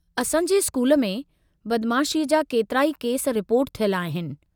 असां जे स्कूल में बदमाशीअ जा केतिराई केस रिपोर्ट थियल आहिनि।